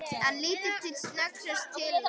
Hann lítur sem snöggvast til hennar.